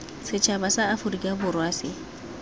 setšhaba sa aforika borwa se